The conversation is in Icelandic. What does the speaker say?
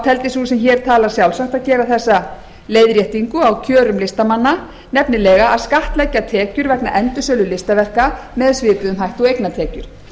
teldi sú sem hér talar sjálfsagt að gera þessa leiðréttingu á kjörum listamanna nefnilega að skattleggja tekjur vegna endursölu listaverka með svipuðum hætti og eignatekjur